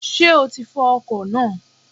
Sé o ti fọ ọkò náà?